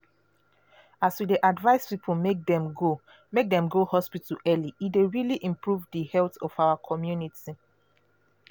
as we dey advise people make dem go make dem go hospital early e dey really improve di health of our community.